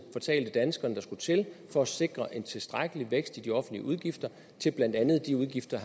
fortalte danskerne der skulle til for at sikre en tilstrækkelig vækst i de offentlige udgifter til blandt andet de udgifter